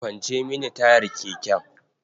Kwance mini tayar keken.